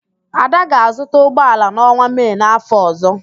Ada ga-azụta ụgbọala n'ọnwa Mee n'áfọ̀ ọ̀zọ́.